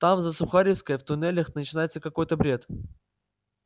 там за сухаревской в туннелях начинается какой-то бред